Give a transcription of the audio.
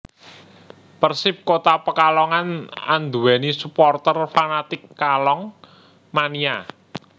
Persip Kota Pekalongan andhuweni suporter fanatik Kalong Mania